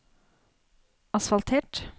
asfaltert